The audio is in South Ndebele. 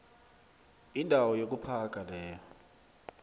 indawo yokuphaga leyo